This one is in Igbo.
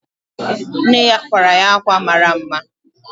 Nne ya kwara ya ákwà mara mma.